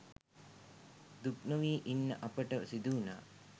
දුක්නොවී ඉන්න අපිට සිදු‍වුණා.